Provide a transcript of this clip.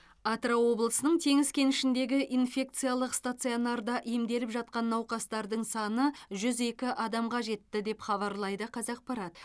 атырау облысының теңіз кенішіндегі инфекциялық стационарда емделіп жатқан науқастардың саны жүз екі адамға жетті деп хабарлайды қазақпарат